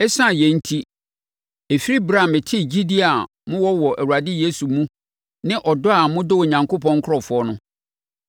Esiane yei enti, ɛfiri ɛberɛ a metee gyidie a mowɔ wɔ Awurade Yesu mu ne ɔdɔ a modɔ Onyankopɔn nkurɔfoɔ no,